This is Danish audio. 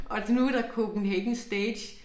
Og nu der CPH STAGE